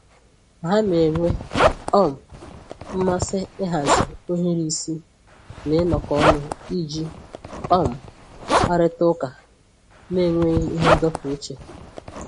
Ha na-enwe um mmasị ịhazi ohiri isi na ịnọkọ ọnụ iji um kparịta ụka n'enweghị ihe ndọpụ uche